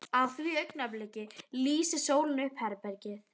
Á því augnabliki lýsir sólin upp herbergið.